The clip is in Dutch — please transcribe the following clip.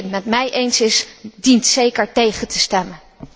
wie het met mij eens is, dient zeker tegen te stemmen.